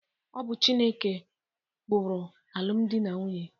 Ọ bụ Chineke ụkpụrụ alụmdi na nwunye.